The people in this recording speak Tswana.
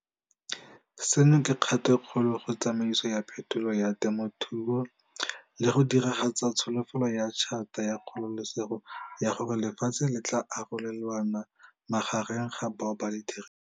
Seno ke kgato e kgolo go tsamaiso ya phetolo ya temothuo, le go diragatsa tsholofetso ya Tšhata ya Kgololosego ya gore lefatshe le tla arolelanwa magareng ga bao ba le dirisang.